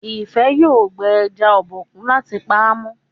Ifẹ yóò gbé eja Obokun láti pàmò.